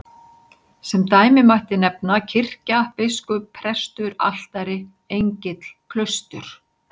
Sem dæmi mætti nefna kirkja, biskup, prestur, altari, engill, klaustur.